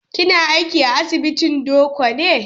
Kina aiki a asibitin Doko ne?